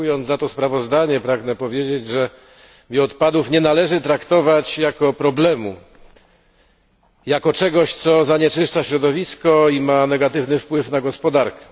Dziękując za to sprawozdanie, pragnę powiedzieć, że bioodpadów nie należy traktować jako problemu, jako czegoś, co zanieczyszcza środowisko i ma negatywny wpływ na gospodarkę.